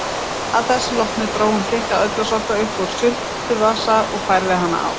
Að þessu loknu dró hún þykka ullarsokka upp úr svuntuvasa og færði hann í.